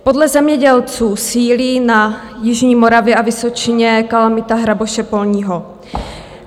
Podle zemědělců sílí na jižní Moravě a Vysočině kalamita hraboše polního.